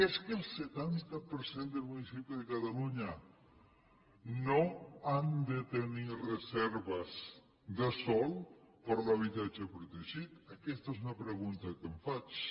és que el setanta per cent dels municipis de catalunya no han de tenir reserves de sòl per a l’habitatge protegit aquesta és una pregunta que em faig